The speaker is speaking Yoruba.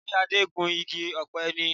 Ṣe Adé ń gun igi ọ̀pẹ ni?